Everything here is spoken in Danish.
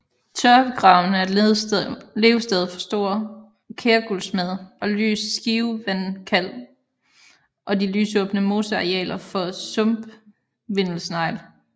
Tørvegravene er levested for stor kærguldsmed og lys skivevandkalv og de lysåbne mosearealer for sumpvindelsnegl